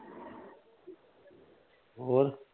ਹੋਰ